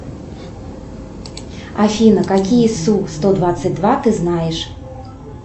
афина какие су сто двадцать два ты знаешь